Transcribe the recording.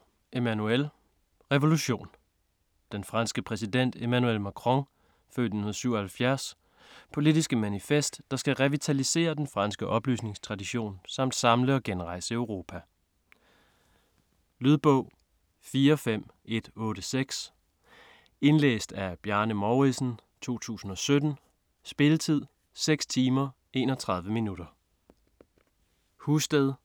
Macron, Emmanuel: Revolution Den franske præsident Emmanuel Macrons (f. 1977) politiske manifest, der skal revitalisere den franske oplysningstradition samt samle og genrejse Europa. Lydbog 45186 Indlæst af Bjarne Mouridsen, 2017. Spilletid: 6 timer, 31 minutter.